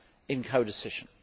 in codecision.